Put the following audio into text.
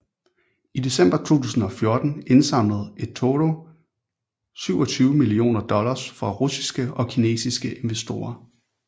I december 2014 indsamlede eToro 27 millioner dollars fra russiske og kinesiske investorer